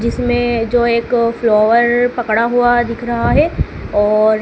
जिसमें जो एक फ्लोवर पकड़ा हुआ दिख रहा हैं और--